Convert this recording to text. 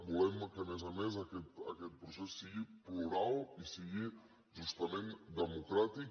volem que a més a més aquest procés sigui plural i sigui justament democràtic